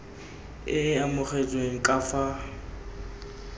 e e amogetsweng ka fa